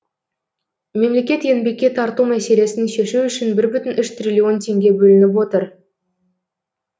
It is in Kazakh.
мемлекет еңбекке тарту мәселесін шешу үшін бір бүтін үш триллион теңге бөліп отыр